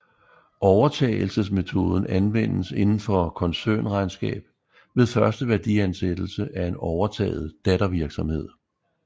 Overtagelsesmetoden anvendes indenfor koncernregnskab ved første værdiansættelse af en overtaget dattervirksomhed